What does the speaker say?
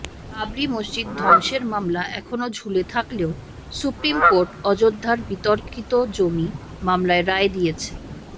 বাবরি মসজিদ ধ্বংসের মামলা এখনও ঝুলে থাকলেও সুপ্রিম কোর্ট অযোধ্যার বিতর্কিত জমি মামলায় রায় দিয়েছে